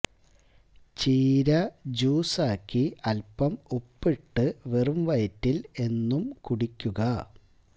ചീര ജ്യൂസ് ആക്കി അല്പം ഉപ്പിട്ട് വെറും വയറ്റില് എന്നും കുടിക്കുക